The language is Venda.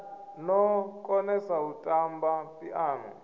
no konesa u tamba phiano